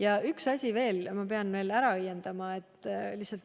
Ja üks asi veel, mille ma pean ära õiendama.